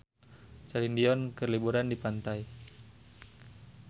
Celine Dion keur liburan di pantai